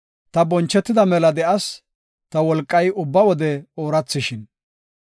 Ta bonchetida mela de7as; ta wolqay ubba wode oorathishin!